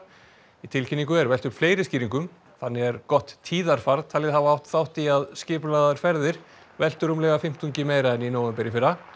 í tilkynningu er velt upp fleiri skýringum þannig er gott tíðarfar talið hafa átt þátt í að skipulagðar ferðir veltu rúmlega fimmtungi meira en í nóvember í fyrra